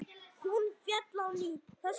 Hún féll á ný.